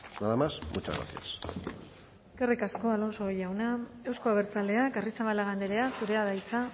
nada más muchas gracias eskerrik asko alonso jauna euzko abertzaleak arrizabalaga andrea zurea da hitza